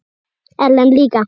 Ellen líka.